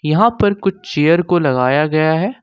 यहां पर कुछ चेयर को लगाया गया है।